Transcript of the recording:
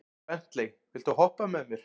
Bentley, viltu hoppa með mér?